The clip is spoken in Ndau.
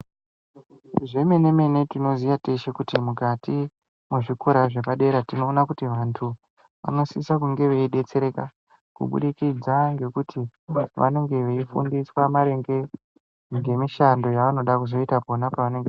Zvemene mene tinoziya teshe kuti mukati mwezvikora zvepadera tinoona t kuti vantu vanosisa kunge veidetsereka kubudikidza kuti vantu vanenge veifunda maringe ngemishando yevanenge veida kuzoita.